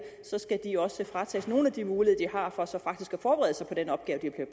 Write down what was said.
skal de også fratages nogle af de muligheder de har for så faktisk at forberede sig på den opgave de er